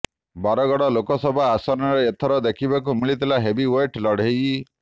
ବରଗଡ଼ ଲୋକସଭା ଆସନରେ ଏଥର ଦେଖିବାକୁ ମିଳିଥିଲା ହେଭିଓ୍ୱେଟ ଲଢ଼େଇ